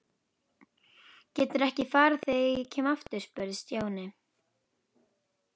Geturðu ekki farið þegar ég kem aftur? spurði Stjáni.